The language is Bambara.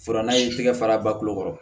Fura n'a y'i tɛgɛ fara ba kulo kɔrɔ